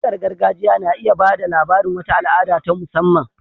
Waƙar gargajiya na iya ba da labarin wata al'ada ta musamman.